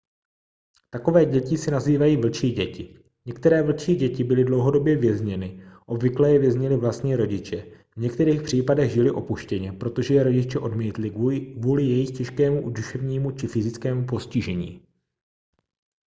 takové děti se nazývají vlčí děti. některé vlčí děti byly dlouhodobě vězněny obvykle je věznili vlastní rodiče v některých případech žily opuštěně protože je rodiče odmítli kvůli jejich těžkému duševnímu či fyzickému postižení